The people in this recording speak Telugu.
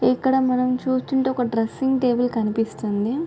ఇక్కడ మనం చూస్తుంటే ఒక డ్రెసింగ్ టేబుల్ కనిపిస్తుంది.